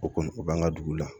O kɔni o b'an ka dugu la